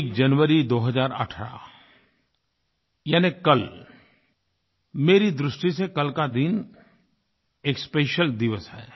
एक जनवरी 2018 यानी कल मेरी दृष्टि से कल का दिन एक स्पेशियल दिवस है